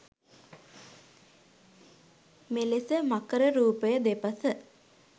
මෙලෙස මකර රූපය දෙපස